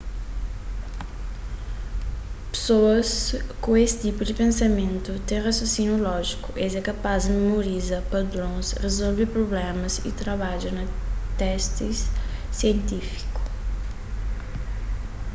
pesoas ku es tipu di pensamentu ten rasionsíniu lójiku es é kapaz di memoriza padrons rezolve prublémas y trabadja na testis sientifíku